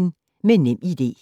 Med NemID